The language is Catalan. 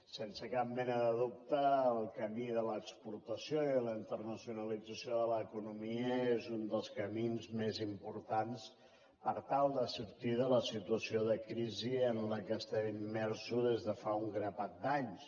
sense cap mena de dubte el camí de l’exportació i de la internacionalització de l’economia és un dels camins més importants per tal de sortir de la situació de crisi en què estem immersos des de fa un grapat d’anys